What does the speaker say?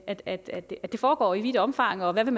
at at det foregår i vidt omfang og ville